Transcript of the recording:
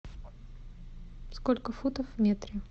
сколько футов в метре